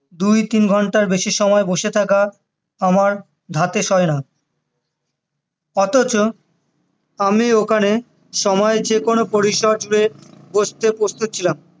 দুই তিন ঘন্টার বেশি সময় বসে থাকা আমার ধাতে সয়না অথচ আমি ওখানে সময় যেকোনো জুড়ে বসতে প্রস্তুত ছিলাম